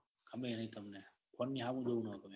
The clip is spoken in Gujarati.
ગમેએ નાઈ તમને phone ની હામું જોવું નો ગમે.